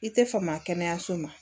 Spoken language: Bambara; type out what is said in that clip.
I tɛ fama kɛnɛyaso ma